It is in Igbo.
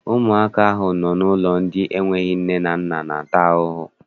Ụmụaka ahụ nọ n'ụlọ ndị n'enweghị nne na-ata ahụhụ.